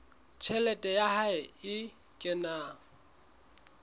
tjhelete ya hae e kenang